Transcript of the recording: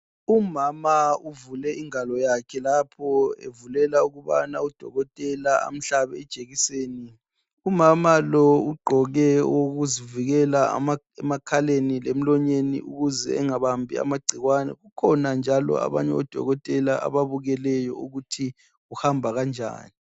Umama uvule ingalo yakhe lapho evulela ukubana udokotela amhlabe ijekiseni umama lo ugqoke okokuzivikela emakhaleni lemlonyeni ukuze engabambi igcikwane kukhona abanye odokotela ababukeleyo ukuthi kuhamba kanjani.